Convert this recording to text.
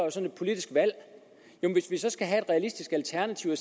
et politisk valg og hvis vi så skal have et realistisk alternativ og